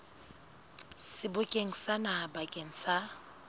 sebokeng sa naha bakeng sa